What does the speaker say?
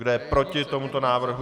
Kdo je proti tomuto návrhu?